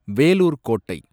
வேலூர் கோட்டை